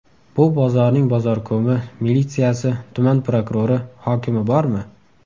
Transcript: Bu bozorning bozorkomi, militsiyasi, tuman prokurori, hokimi bormi?